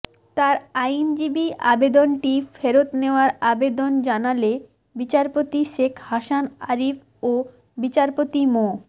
তার আইনজীবী আবেদনটি ফেরত নেওয়ার আবেদন জানালে বিচারপতি শেখ হাসান আরিফ ও বিচারপতি মো